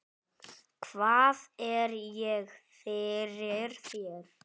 Hvað er ég fyrir þér?